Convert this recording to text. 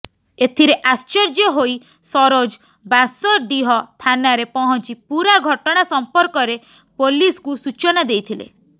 ଏଥିରେ ଆଶ୍ଚର୍ଯ୍ୟ ହୋଇ ସରୋଜ ବାଁସଡିହ ଥାନାରେ ପହଞ୍ଚି ପୁରା ଘଟଣା ସମ୍ପର୍କରେ ପୋଲିସକୁ ସୂଚନା ଦେଇଥିଲେ